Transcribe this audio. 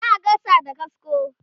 za'a Yi gasa da kasko